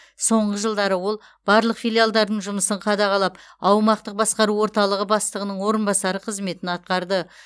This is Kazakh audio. соңғы жылдары ол барлық филиалдардың жұмысын қадағалап аумақтық басқару орталығы бастығының орынбасары қызметін атқарды